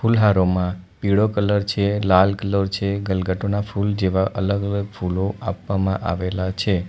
ફુલહારોમાં પીળો કલર છે લાલ કલર છે ગલગાટોના ફુલ જેવા અલગ અલગ ફૂલો આપવામાં આવેલા છે.